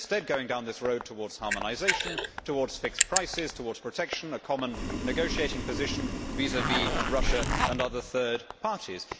We are instead going down this road towards harmonisation, towards fixed prices, towards protection, towards a common negotiating position vis vis Russia and other third parties.